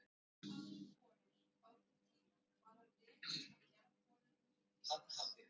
Eins og aðrir borar á þeim tíma var hann rekinn af Jarðborunum ríkisins.